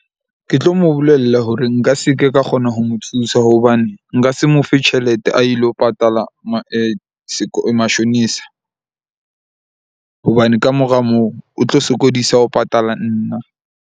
Ke tlo mo bolella hore nka se ke ka kgona ho mo thusa hobane, nka se mo fe tjhelete a ilo patala mashonisa. Hobane kamora moo o tlo sokodisa ho patala nna.